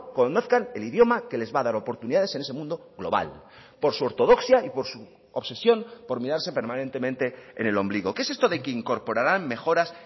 conozcan el idioma que les va a dar oportunidades en ese mundo global por su ortodoxia y por su obsesión por mirarse permanentemente en el ombligo qué es esto de que incorporaran mejoras